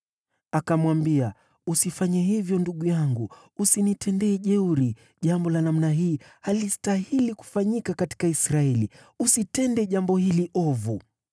Akamwambia, “Usifanye hivyo, ndugu yangu! Usinitende jeuri! Jambo la namna hii halistahili kufanyika katika Israeli! Usitende jambo hili ovu.